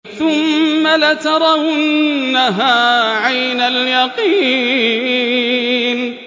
ثُمَّ لَتَرَوُنَّهَا عَيْنَ الْيَقِينِ